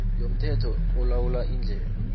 yomthetho olawula iindlela